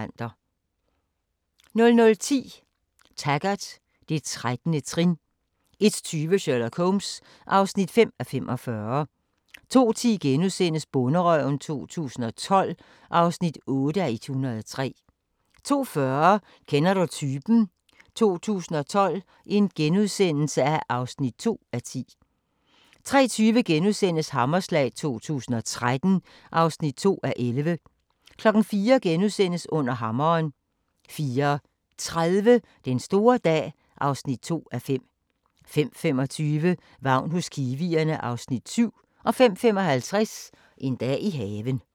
00:10: Taggart: Det 13. trin 01:20: Sherlock Holmes (5:45) 02:10: Bonderøven 2012 (8:103)* 02:40: Kender du typen? 2012 (2:10)* 03:20: Hammerslag 2013 (2:11)* 04:00: Under hammeren * 04:30: Den store dag (2:5) 05:25: Vagn hos kiwierne (Afs. 7) 05:55: En dag i haven